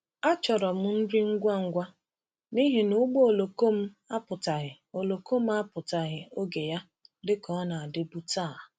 Achọrọ m nri ngwa ngwa n’ihi na ụgbọ oloko m apụtaghị oloko m apụtaghị oge ya dịka ọ na-adịbu taa.